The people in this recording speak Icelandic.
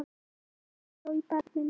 Andri hló í barminn.